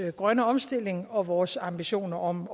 grønne omstilling og vores ambitioner om